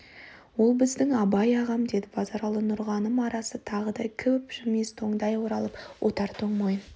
ол біздің абай ағам деді базаралы нұрғаным арасы тағы да кеп жібімес тоңдай оралып отыр тоңмойын